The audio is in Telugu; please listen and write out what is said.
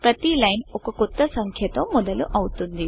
ప్రతి లైన్ ఒక కొత్త సంఖ్య తో మొదలవుతుంది